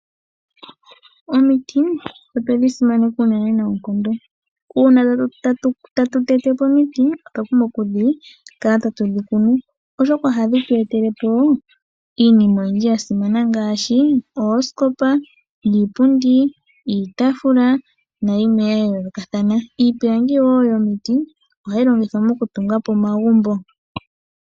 Omiti otwedhi simaneka unene nookondo, uuna tatu tete po omiti otwa pumbwa oku kala tatu dhi kunu oshoka ohadhi tu etele po iinima oyindji yasimana ngaashi oosikopa, iipundi, iitaafula nayimwe ya yoolokatha, iipilangi yomiti ohayi longithwa moku tunga po omagumbo.